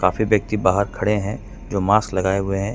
काफी व्यक्ति बाहर खड़े हैं जो मास्क लगाए हुए हैं ।